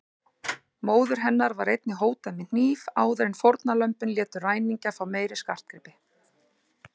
Móður hennar var einnig hótað með hníf áður en fórnarlömbin létu ræningjana fá meiri skartgripi.